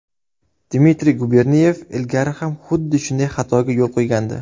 Dmitriy Guberniyev ilgari ham xuddi shunday xatoga yo‘l qo‘ygandi.